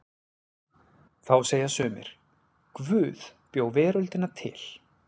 Þá segja sumir: Guð bjó veröldina til.